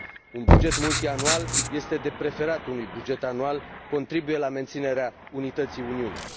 Un buget multianual este de preferat unui buget anual, contribuie la menținerea unității Uniunii.